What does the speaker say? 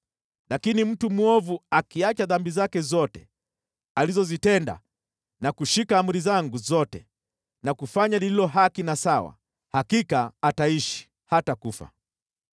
“Lakini mtu mwovu akiacha dhambi zake zote alizozitenda na kushika amri zangu zote na kufanya lililo haki na sawa, hakika ataishi, hatakufa.